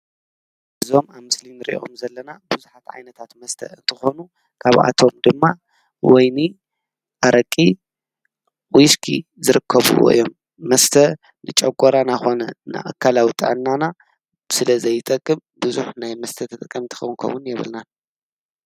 እዞም ኣምስሊን ርእዮም ዘለና ብዙኃት ዓይነታት መስተ እንተኾኑ ካብ ኣቶም ድማ ወይኒ ፣ኣረቂ ፣ዊስኪ ዝርከብዎ እዮም መስተ ንጨጐራና ኾነ ንኣከላዊ ጥዕናና ስለ ዘይጠቅም ብዙኅ ናይ መስተ ተጠቀምቲ ኸንከውን የብልናን።